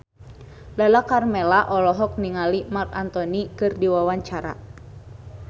Lala Karmela olohok ningali Marc Anthony keur diwawancara